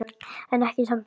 En ekki í Sambíu.